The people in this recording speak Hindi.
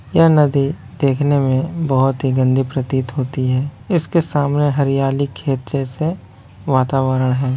यह नदी देखने मे बहुत ही गंदी प्रतीत होती है इसके सामने हरियाली खेत जैसे वातावरण है।